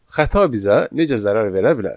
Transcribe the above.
Xəta bizə necə zərər verə bilər?